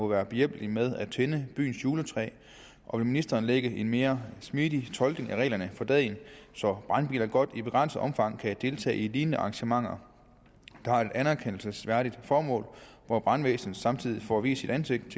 må være behjælpelige med at tænde byens juletræ og vil ministeren lægge en mere smidig tolkning af reglerne for dagen så brandbiler godt i begrænset omfang kan deltage i lignende arrangementer der har et anerkendelsesværdigt formål hvor brandvæsenet samtidig får vist sit ansigt